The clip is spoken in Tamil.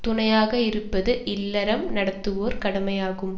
துணையாக இருப்பது இல்லறம் நடத்துவோர் கடமையாகும்